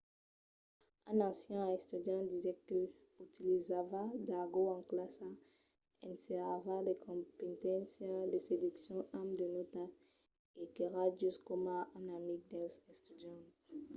un ancian estudiant diguèt que 'utilizava d’argòt en classa ensenhava de competéncias de seduccion amb de nòtas e qu’èra just coma un amic dels estudiants'